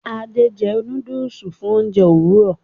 Ade jé nudulu fún oúnjẹ Òwúrọ